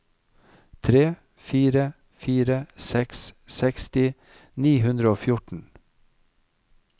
tre fire fire seks seksti ni hundre og fjorten